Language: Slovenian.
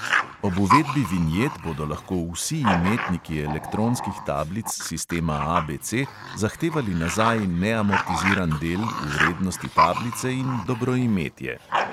Ob uvedbi vinjet bodo lahko vsi imetniki elektronskih tablic sistema ABC zahtevali nazaj neamortiziran del v vrednosti tablice in dobroimetje.